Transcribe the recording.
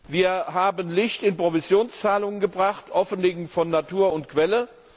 Wir haben Licht in Provisionszahlungen gebracht, Offenlegung von Natur und Quelle.